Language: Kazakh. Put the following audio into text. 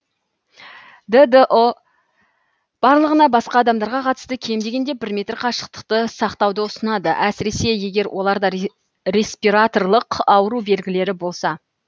ддұ барлығына басқа адамдарға қатысты кем дегенде бір метр қашықтықты сақтауды ұсынады әсіресе егер оларда респираторлық ауру белгілері болса